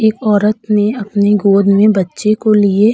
एक औरत ने अपने गोद में बच्चे को लिए --